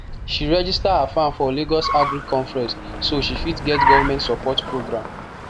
she register her farm for lagos agric conference so she fit get government support program